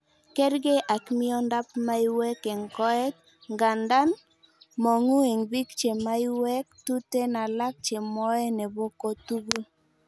Kerkei ak miondab miaywek en koet, ngandan mong'u en biik chee maiwek tuten alan chemoee nebo kotukul.